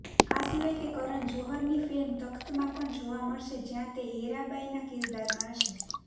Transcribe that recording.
આ સિવાય તે કરન જોહરની ફિલ્મ તખ્તમાં પણ જોવા મળશે જ્યાં તે હેરાબાઈના કિરદારમાં હશે